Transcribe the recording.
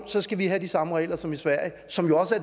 så skal have de samme regler som i sverige som jo også